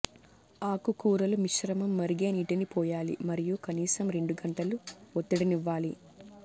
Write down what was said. ఆకుకూరలు మిశ్రమం మరిగే నీటిని పోయాలి మరియు కనీసం రెండు గంటలు ఒత్తిడినివ్వాలి